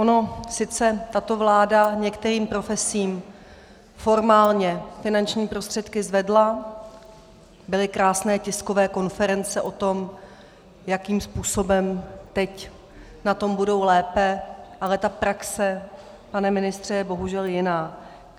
Ona sice tato vláda některým profesím formálně finanční prostředky zvedla, byly krásné tiskové konference o tom, jakým způsobem teď na tom budou lépe, ale ta praxe, pane ministře, je bohužel jiná.